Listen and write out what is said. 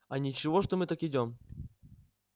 а ничего что мы так идём